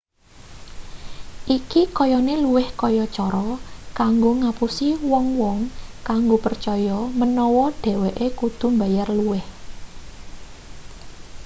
iki kayane luwih kaya cara kanggo ngapusi wong-wong kanggo percaya menawa dheweke kudu mbayar luwih